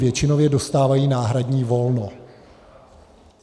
Většinově dostávají náhradní volno.